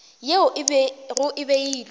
yeo e bego e beilwe